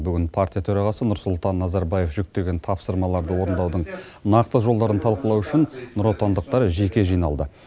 бүгін партия төрағасы нұрсұлтан назарбаев жүктеген тапсырмаларды орындаудың нақты жолдарын талқылау үшін нұротандықтар жеке жиналды